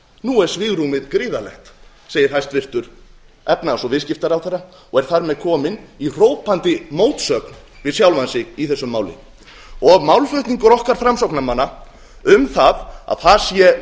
nú er svigrúmið gríðarlegt segir hæstvirtur efnahags og viðskiptaráðherra og er þar með kominn í hrópandi mótsögn við sjálfan sig í þessu máli málflutningur okkar framsóknarmanna um að það sé